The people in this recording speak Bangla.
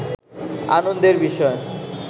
আনন্দের বিষয়